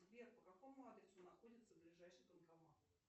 сбер по какому адресу находится ближайший банкомат